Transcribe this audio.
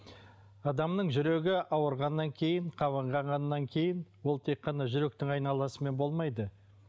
адамның жүрегі ауырғаннан кейін қабынғаннан кейін ол тек қана жүректің айналасымен болмайды